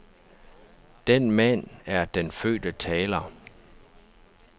Den mand er den fødte taler.